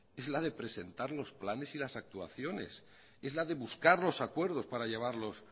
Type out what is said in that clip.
es la de presentar los planes y las actuaciones es la de buscar los acuerdos para llevarlos